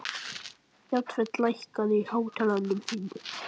Jafet, lækkaðu í hátalaranum.